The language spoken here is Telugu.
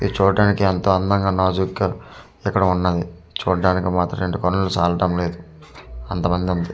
ఇది చూట్టానికి ఎంతో అందంగా నాజూక్ గా ఎక్కడో ఉన్నది చూడడానికి మాత్రం రెండు కనులు చాలటం లేదు అంతా మంది అంతే.